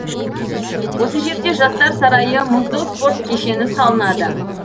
осы жерде жастар сарайы мұзды спорт кешені салынады